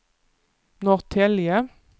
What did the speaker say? Norrtälje